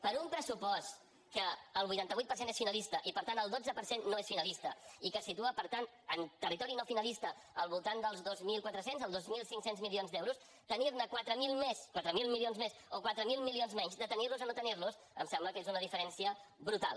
per un pressupost que el vuitanta vuit per cent és finalista i per tant el dotze per cent no és finalista i que es situa per tant en territori no finalista al voltant dels dos mil quatre cents els dos mil cinc cents milions d’euros tenir ne quatre mil més quatre mil milions més o quatre mil milions menys de tenir los a no tenir los em sembla que és una diferència brutal